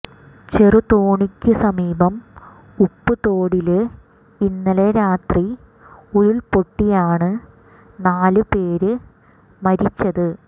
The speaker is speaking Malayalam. ചെറുതോണിക്ക് സമീപം ഉപ്പുതോടില് ഇന്നലെ രാത്രി ഉരുള്പൊട്ടിയാണ് നാല് പേര് മരിച്ചത്